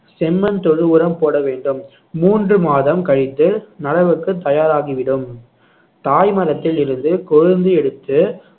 செம்மண் தொழு உரம் போட வேண்டும் மூன்று மாதம் கழித்து நடவுக்கு தயாராகி விடும் தாய் மரத்தில் இருந்து கொழுந்து எடுத்து